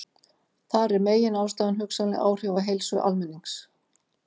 Þar er meginástæðan hugsanleg áhrif á heilsu almennings.